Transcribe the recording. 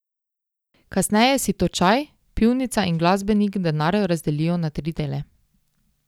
Kasneje si točaj, pivnica in glasbenik denar razdelijo na tri dele.